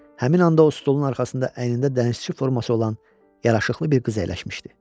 Həmin anda o stolun arxasında əynində dənizçi forması olan yaraşıqlı bir qız əyləşmişdi.